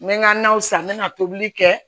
N bɛ ka na o san n bɛ na tobili kɛ